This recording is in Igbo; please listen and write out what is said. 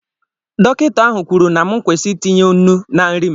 Dọkịta ahụ kwuru na m kwụsị itinye nnu na nri m